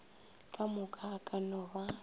kamoka e ka no ba